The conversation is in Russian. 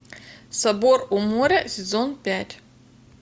собор у моря сезон пять